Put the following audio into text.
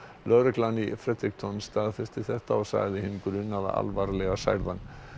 lögreglan í staðfesti þetta og sagði hinn grunaða alvarlega særðan